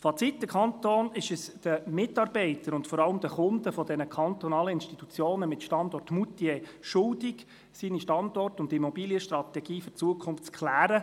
Fazit: Der Kanton ist es den Mitarbeitern und vor allem den Kunden dieser kantonalen Institutionen mit Standort Moutier schuldig, seine Standort- und Immobilienstrategie für die Zukunft zu klären.